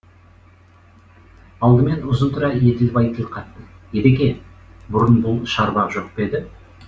алдымен ұзынтұра еділбай тіл қатты едеке бұрын бұл шарбақ жоқ па еді